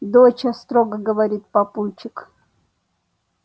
доча строго говорит папульчик